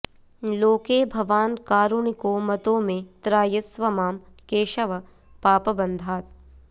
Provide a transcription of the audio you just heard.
लोके भवान् कारुणिको मतो मे त्रायस्व मां केशव पापबन्धात्